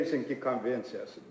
Helsinki konvensiyası.